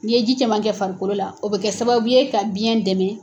N'i ye ji caman kɛ farikolo la o bɛ kɛ sababu ye ka biyɛn dɛmɛ